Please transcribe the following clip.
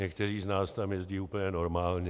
Někteří z nás tam jezdí úplně normálně.